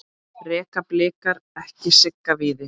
Reka Blikar ekki Sigga Víðis?